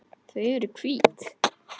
Þau eru hvít.